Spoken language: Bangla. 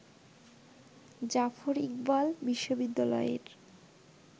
জাফর ইকবাল বিশ্ববিদ্যালয়ের